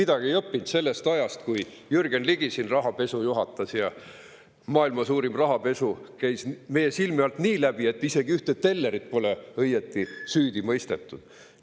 Kas me ei õppinud midagi sellest ajast, kui Jürgen Ligi siin rahapesu juhatas ja maailma suurim rahapesu käis meie silme alt läbi nii, et isegi ühte tellerit pole õieti süüdi mõistetud?